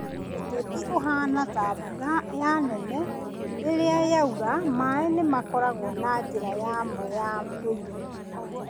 Ũteti ũhaana ta mbura ya nene, rĩrĩa yaura, maaĩ nĩ makoragwo na njĩra yamo ya ndũire.